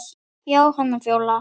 Jóhanna Fjóla.